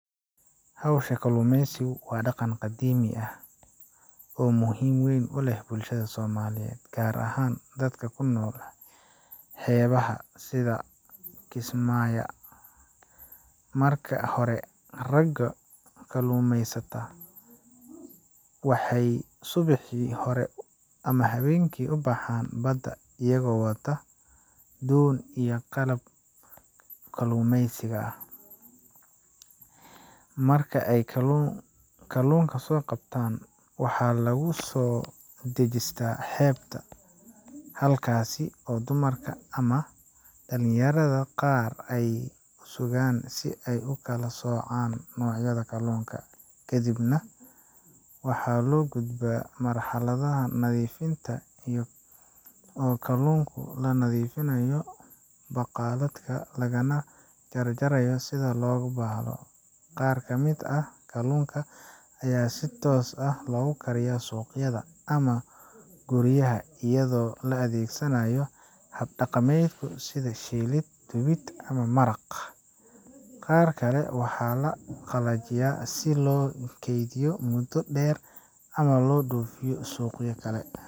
Hawshan kalluumaysigu waa dhaqan qadiimi ah oo muhiim weyn u leh bulshada Soomaaliyeed, gaar ahaan dadka ku nool xeebaha sida Kismaayo. Marka hore, ragga kalluumaysatada ah ayaa subaxii hore ama habeenkii u baxa badda iyaga oo wata doonno iyo qalab kalluumaysiga ah. Marka ay kalluunka soo qabtaan, waxa lagu soo dejistaa xeebta, halkaas oo dumarka ama dhalinyarada qaar ay ku sugaan si ay u kala soocaan noocyada kalluunka. Kadib, waxaa loo gudbaa marxaladda nadiifinta oo kalluunka laga nadiifiyo balaqda, lagana jarjaro sida loogu baahdo. Qaar ka mid ah kalluunka ayaa si toos ah loogu kariyaa suuqyada ama guryaha, iyadoo la adeegsanayo hab dhaqameedyo sida shiilid, dubid ama maraq. Qaar kale waxaa la qalajiyaa si loo keydiyo muddo dheer ama loo dhoofiyo suuqyo kale.